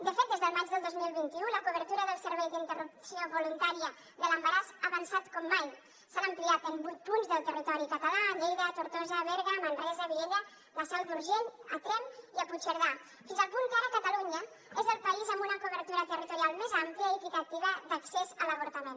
de fet des del maig del dos mil vint u la cobertura del servei d’interrupció voluntària de l’embaràs ha avançat com mai s’ha ampliat en vuit punts del territori català a lleida a tortosa a berga manresa viella la seu d’urgell a tremp i a puigcerdà fins al punt que ara catalunya és el país amb una cobertura territorial més àmplia i equitativa d’accés a l’avortament